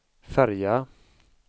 färja